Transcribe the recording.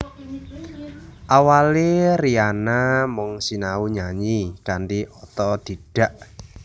Awalé Rihanna mung sinau nyanyi kanthi otodidak